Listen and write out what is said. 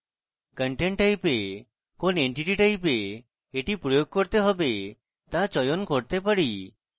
content type we কোন entity type we এটি প্রয়োগ করতে হবে তা চয়ন করতে পারি